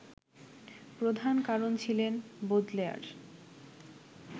প্রধান কারণ ছিলেন বোদলেয়ার